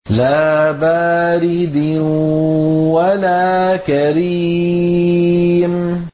لَّا بَارِدٍ وَلَا كَرِيمٍ